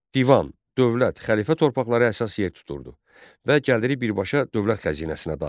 Divan, dövlət xəlifə torpaqları əsas yer tuturdu və gəliri birbaşa dövlət xəzinəsinə daxil olurdu.